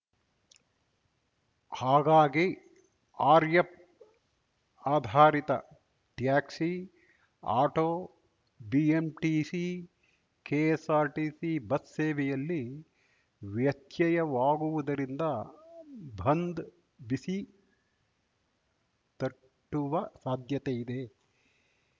ಹಾಗಾಗಿ ಆರ್ಯಪ್‌ ಆಧಾರಿತ taxi auto BMTC KSRTC bus ಸೇವೆಯಲ್ಲಿ ವ್ಯತ್ಯಯವಾಗುವುದರಿಂದ ಬಂದ್‌ ಬಿಸಿ ತಟ್ಟುವ ಸಾಧ್ಯತೆಯಿದೆ